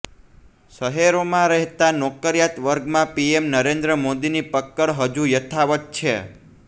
શહેરોમાં રહેતા નોકરિયાત વર્ગમાં પીએમ નરેન્દ્ર મોદીની પક્કડ હજુ યથાવત છે